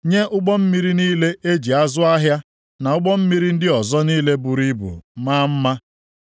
nye ụgbọ mmiri niile e ji azụ ahịa, + 2:16 Ụgbọ niile nke Tashish na ụgbọ mmiri ndị ọzọ niile buru ibu maa mma.